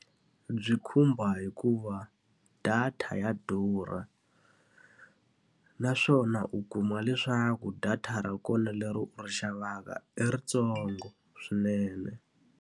Byi khumba hikuva data ya durha. Naswona u kuma leswaku data ra kona leri u ri xavaka i ri ntsongo swinene.